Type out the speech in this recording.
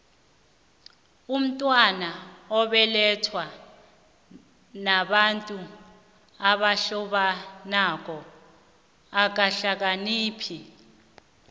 umntwana obelethwa babantu abahlobanako akahlakaniphi